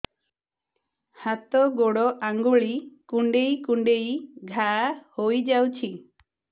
ହାତ ଗୋଡ଼ ଆଂଗୁଳି କୁଂଡେଇ କୁଂଡେଇ ଘାଆ ହୋଇଯାଉଛି